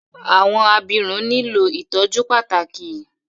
Awọn abirun nilo ìtọjú pàtàkì